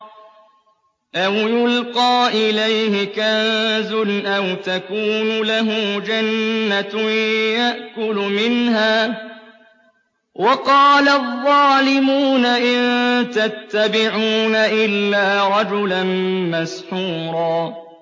أَوْ يُلْقَىٰ إِلَيْهِ كَنزٌ أَوْ تَكُونُ لَهُ جَنَّةٌ يَأْكُلُ مِنْهَا ۚ وَقَالَ الظَّالِمُونَ إِن تَتَّبِعُونَ إِلَّا رَجُلًا مَّسْحُورًا